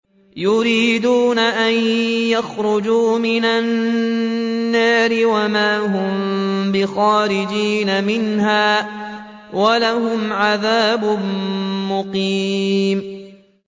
يُرِيدُونَ أَن يَخْرُجُوا مِنَ النَّارِ وَمَا هُم بِخَارِجِينَ مِنْهَا ۖ وَلَهُمْ عَذَابٌ مُّقِيمٌ